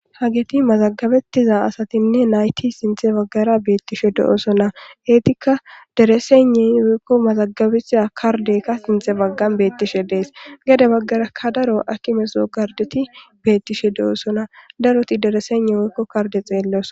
Hagethi mazagabeththida asathinne na7ithi sinththe baggara beeththishe de7oosona; heethikka deresegne woykko mazagabeththida kardde heetha sinththa baggara beeththishede7ees; gede baggara ha daro haakimeso karddethi beeththishe de7oosona; darothi deresegne woykko kardde xeellosona